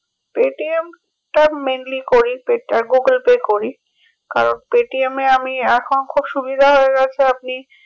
Paytm টা mainly করি pay আর google pay করি কারণ paytm এ আমি এখন খুব সুবিধা হয়ে গেছে আপনি